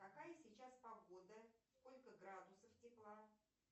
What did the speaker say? какая сейчас погода сколько градусов тепла